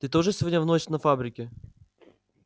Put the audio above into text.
ты тоже сегодня в ночь на фабрике